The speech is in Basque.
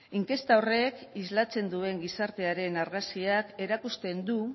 inkesta horrek islatzen duen gizartearen argazkiak erakusten du